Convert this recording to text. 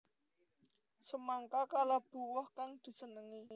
Semangka kalebu woh kang disenengi